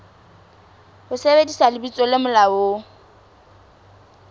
ho sebedisa lebitso le molaong